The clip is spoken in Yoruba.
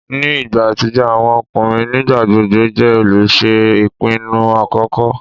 Ni igba atijọ, awọn ọkunrin nigbagbogbo jẹ oluṣe ipinnu akọkọ